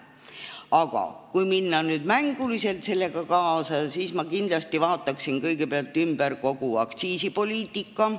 Aga kui minna nüüd mänguliselt sellega kaasa, siis ma kindlasti vaataksin kõigepealt üle kogu aktsiisipoliitika.